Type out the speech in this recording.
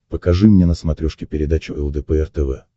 покажи мне на смотрешке передачу лдпр тв